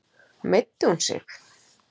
Meiddi hún sig?